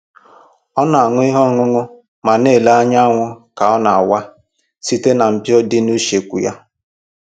Ọ na-aṅụ ihe ọṅụṅụ ma na-ele anyanwụ ka ọ na-awa site na mpio dị n'usekwu ya